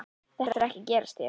Þetta er ekki að gerast hér.